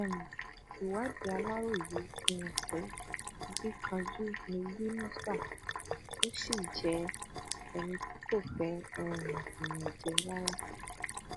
um ìwádìí aláròye fi hàn pé akínkanjú ni yínúṣà ó sì jẹ ẹni tí kò fẹ um ìyànjẹ rárá